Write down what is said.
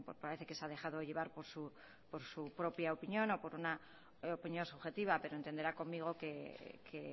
parece que se ha dejado llevar por su propia opinión o por una opinión subjetiva pero entenderá conmigo que